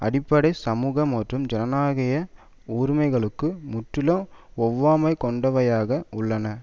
அடிப்படை சமூக மற்றும் ஜனநாயக உரிமைகளுக்கு முற்றிலும் ஒவ்வாமை கொண்டவையாக உள்ளன